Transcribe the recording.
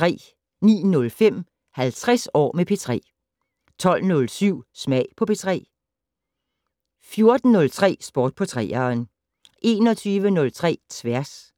09:05: 50 år med P3 12:07: Smag på P3 14:03: Sport på 3'eren 21:03: Tværs